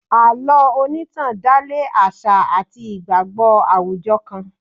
Àlọ́ onitan dale àṣà àti ìgbàgbọ́ àwùjọ kan.